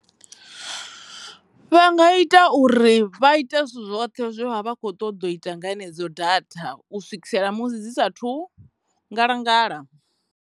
Vha nga ita uri vha ite zwithu zwoṱhe zwe vha vha kho ṱoḓa u ita nga dzenedzo datha u swikisela musi dzi sathu ngalangala.